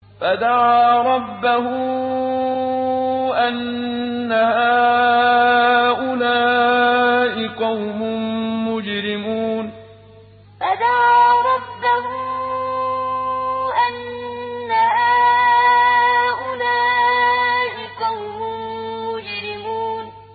فَدَعَا رَبَّهُ أَنَّ هَٰؤُلَاءِ قَوْمٌ مُّجْرِمُونَ فَدَعَا رَبَّهُ أَنَّ هَٰؤُلَاءِ قَوْمٌ مُّجْرِمُونَ